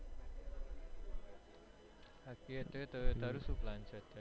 અત્યારે તારું શું પ્લાન છે